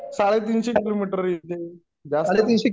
साडेतीनशे किलोमीटर येईल ते, जास्त